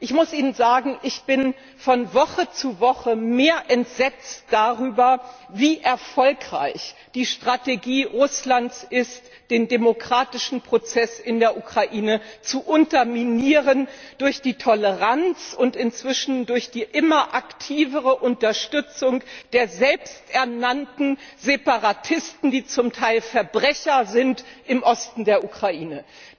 Ich muss Ihnen sagen, ich bin von Woche zu Woche mehr entsetzt darüber, wie erfolgreich die Strategie Russlands ist, den demokratischen Prozess in der Ukraine zu unterminieren durch die Toleranz und inzwischen durch die immer aktivere Unterstützung der selbsternannten Separatisten, die zum Teil Verbrecher sind, im Osten der Ukraine.